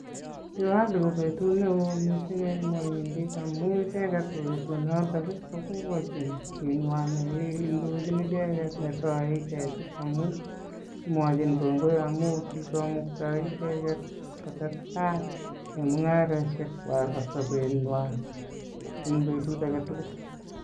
Diwali ko betut neo mising en muhindiek amun icheget ko betunoto ii koboiboenchin chi nywan ne indochin icheget ne soe icheget amun mwochin kongoi amun kigomukta icheget kotestai en mung'arosiek kwag ak sobenywan en betut age tugul.